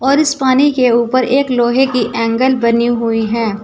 और इस पानी के ऊपर एक लोहे की एंगल बनी हुई हैं।